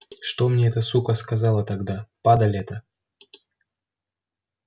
что мне эта сука сказала тогда падаль эта